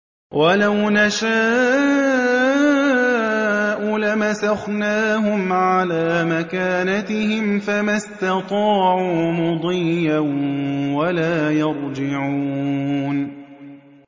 وَلَوْ نَشَاءُ لَمَسَخْنَاهُمْ عَلَىٰ مَكَانَتِهِمْ فَمَا اسْتَطَاعُوا مُضِيًّا وَلَا يَرْجِعُونَ